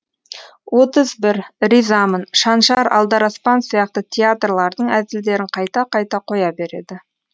отыз бір ризамын шаншар алдараспан сияқты театрлардың әзілдерін қайта қайта қоя береді